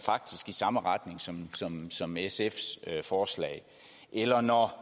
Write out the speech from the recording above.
i samme retning som som sfs forslag eller når